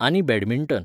आनी बॅडमिंटन